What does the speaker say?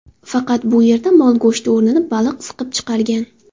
Faqat bu yerda mol go‘shti o‘rnini baliq siqib chiqargan.